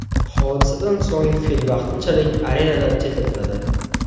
Hodisadan so‘ng fil vaqtinchalik arenadan chetlatiladi.